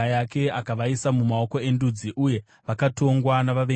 Akavaisa mumaoko endudzi, uye vakatongwa navavengi vavo.